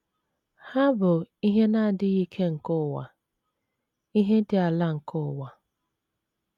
Ha bụ “ ihe na - adịghị ike nke ụwa, ”“ ihe dị ala nke ụwa. ”